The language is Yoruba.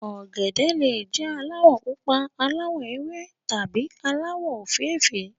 ògèdè le jé alawọ pupa ,aláwò ewé tàbí alawọ ofeefee.